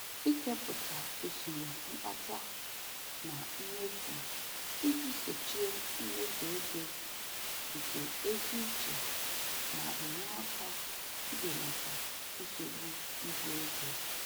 Ikepụta usoro mkpata na mmefu iji sochie mmefu ego nke ezi uche na-enye aka ibelata nsogbu ibu ego.